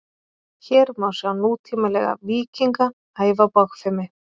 hér má sjá nútímalega „víkinga“ æfa bogfimi